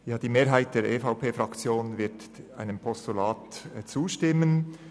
Die Mehrheit der EVP-Fraktion wird einem Postulat zustimmen.